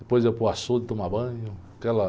Depois ia para o açude tomar banho. aquela...